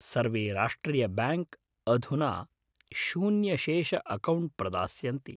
सर्वे राष्ट्रियब्याङ्क् अधुना शून्यशेष अकौण्ट्‌ प्रदास्यन्ति।